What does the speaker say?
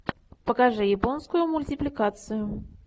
покажи японскую мультипликацию